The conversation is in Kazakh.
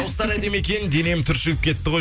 дауыстары әдемі екен денем түршігіп кетті ғой